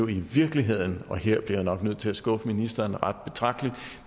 i virkeligheden og her bliver jeg nok nødt til at skuffe ministeren ret betragteligt